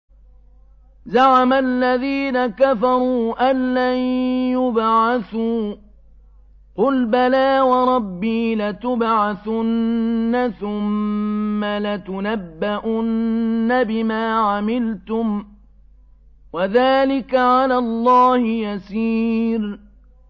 زَعَمَ الَّذِينَ كَفَرُوا أَن لَّن يُبْعَثُوا ۚ قُلْ بَلَىٰ وَرَبِّي لَتُبْعَثُنَّ ثُمَّ لَتُنَبَّؤُنَّ بِمَا عَمِلْتُمْ ۚ وَذَٰلِكَ عَلَى اللَّهِ يَسِيرٌ